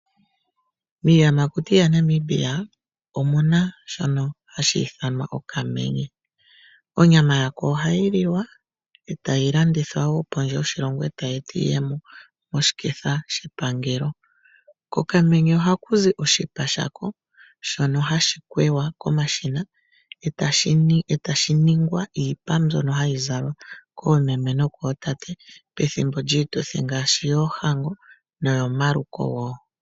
Miiyamakuti yaNamibia omu na shono hashi ithanwa okamenye. Onyama ya ko ohayi liwa e tayi landithwa wo pondje yoshilongo e tayi eta iiyemo moshiketha shepangelo. Kokamenye ohaku zi oshipa shako shono hashi kwewa komashina etashi ningwa iipa mbyono hayi zalwa koomeme nokootate pethimbo lyiituthi ngaashi yoohango noyomaluko woo.